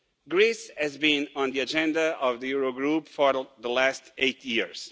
Greece has been on the agenda of the Eurogroup for the last eight years.